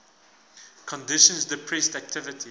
conditions depressed activity